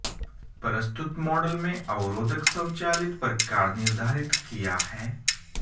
प्रस्तुत मॉडल में अवरोधक स्वचालित प्रकार निर्धारित किया है